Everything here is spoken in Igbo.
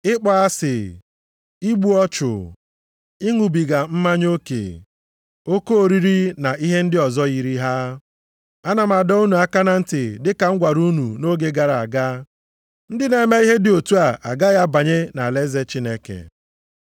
Ịkpọ asị, igbu ọchụ, ịṅụbiga mmanya oke, oke oriri na ihe ndị ọzọ yiri ha. Ana m adọ unu aka na ntị dịka m gwara unu nʼoge gara aga, ndị na-eme ihe dị otu a agaghị abanye nʼalaeze Chineke.